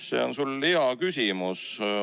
See on sul hea küsimus.